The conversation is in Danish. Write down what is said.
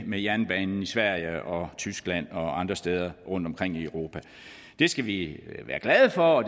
med jernbanen i sverige og tyskland og andre steder rundt omkring i europa det skal vi være glade for og